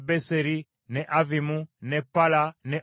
ne Avvimu ne Pala ne Ofula,